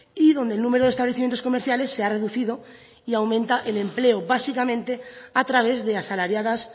y donde el número de establecimientos comerciales se ha reducido y aumenta el empleo básicamente a través de asalariadas